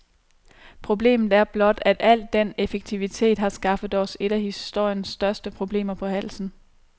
Problemet er blot, at al denne effektivitet har skaffet os et af historiens største problemer på halsen.